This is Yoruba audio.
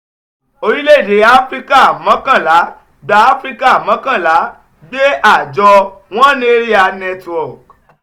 orílẹ̀-èdè áfíríkà mọ́kànlá gbé áfíríkà mọ́kànlá gbé àjọ one area network